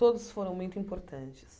Todos foram muito importantes.